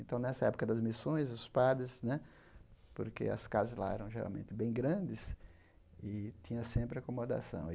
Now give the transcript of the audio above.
Então, nessa época das missões, os padres né... Porque as casas lá eram geralmente bem grandes e tinha sempre acomodação.